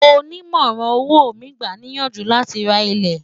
ọ̀lumorán owó mí gbà ní iyànjú là tí rà ilé